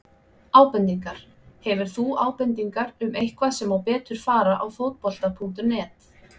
Ábendingar: Hefur þú ábendingar um eitthvað sem má betur fara á Fótbolta.net?